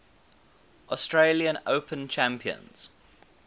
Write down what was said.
australian open champions